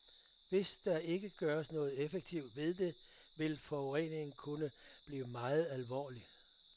Hvis der ikke gøres noget effektivt ved det, vil forureningen kunne blive meget alvorlig.